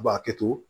A b'a kɛ to